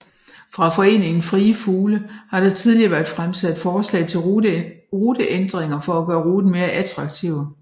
Fra Foreningen Frie Fugle har der tidligere været fremsat forslag til ruteændringer for at gøre ruten mere attraktiv